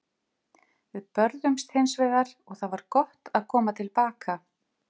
Við börðumst hins vegar og það var gott að koma til baka.